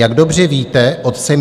Jak dobře víte, otcem